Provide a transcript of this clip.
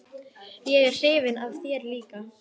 Ég er hrifin af þér líka.